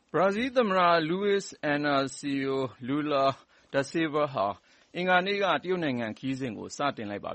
ဘရာဇီးသမ္မတ လူဝိဇ် အင်နာဆီယို လူလာ ဒဆေလ်ဗာ ဟာ အင်္ဂါနေ့က တရုတ်နိုင်ငံခရီးကို စတင်လိုက်ပါ